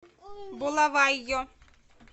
булавайо